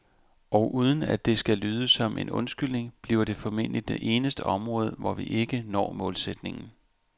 Og uden at det skal lyde som en undskyldning, bliver det formentlig det eneste område, hvor vi ikke når målsætningen.